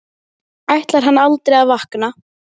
Hann læðist brott frá henni.